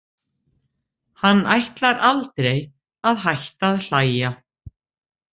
Hann ætlar aldrei að hætta að hlæja.